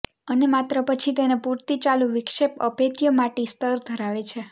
અને માત્ર પછી તેને પૂરતી ચાલુ વિક્ષેપ અભેદ્ય માટી સ્તર ધરાવે છે